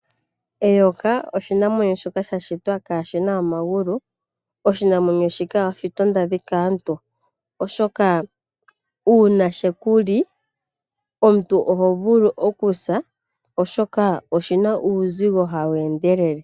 Eyoka oshinamwenyo shoka sha shitwa kaashina omagulu